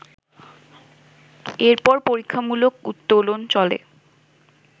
এরপর পরীক্ষামূলক উত্তোলন চলে